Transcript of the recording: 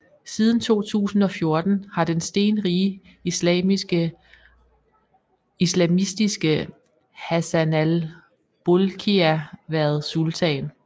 Siden 2014 har den stenrige islamistiske Hassanal Bolkiah været sultan